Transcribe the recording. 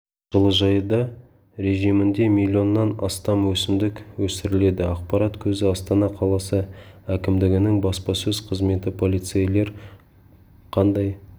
жылыжайда режимінде миллионнан астам өсімдік өсіріледі ақпарат көзі астана қаласы әкімдігінің баспасөз қызметі полицейлер қандай